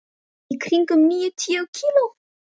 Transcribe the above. Í kringum níutíu kíló.